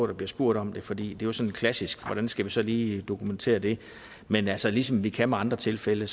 der bliver spurgt om det fordi det er sådan klassisk hvordan skal vi så lige dokumentere det men altså ligesom vi kan med andre tilfælde